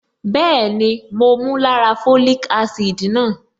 Bẹ́ẹ̀ni, mo mu lára folic acid náà.